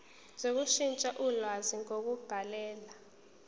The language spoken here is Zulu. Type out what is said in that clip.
sokushintsha ulwazi ngokubhalela